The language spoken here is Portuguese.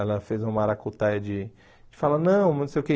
Ela fez uma maracutaia de... De falar, não, não sei o quê.